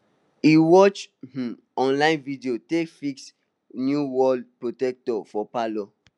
he watch um online video take fix new wall protector for palour